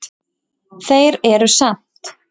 Þeir eru samt